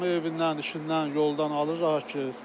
Hamı evindən, işindən, yoldan alır, rahat gedir.